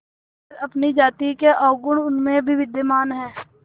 मगर अपनी जाति के अवगुण उनमें भी विद्यमान हैं